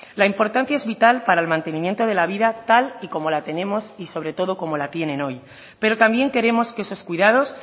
la importancia es vital para el mantenimiento de la vida tal y como la tenemos y sobre todo como la tienen hoy pero también queremos que esos cuidados